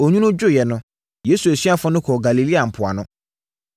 Onwunu dwoeɛ no, Yesu asuafoɔ no kɔɔ Galilea mpoano.